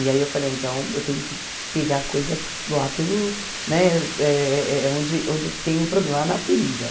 E aí eu falei, então eu tenho que pegar a coisa lá pelo né eh... onde onde tem o problema, lá na ferida.